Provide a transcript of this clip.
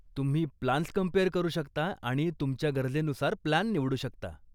तुम्ही plans compare करू शकता आणि तुमच्या गरजेनुसार प्लान निवडू शकता.